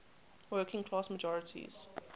working class majorities